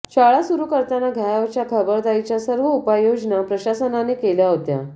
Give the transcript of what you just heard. शाळा सुरू करताना घ्यावयाच्या खबरदारीच्या सर्व उपाययोजना प्रशासनाने केल्या होत्या